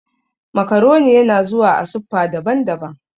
Macaroni yana zuwa a siffa daban-daban